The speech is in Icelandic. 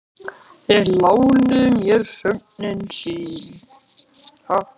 Þeir lánuðu mér nöfnin sín.